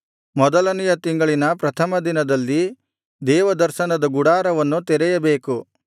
ಮೊದಲನೆಯ ತಿಂಗಳಿನ ಪ್ರಥಮ ದಿನದಲ್ಲಿ ದೇವದರ್ಶನದ ಗುಡಾರವನ್ನು ತೆರೆಯಬೇಕು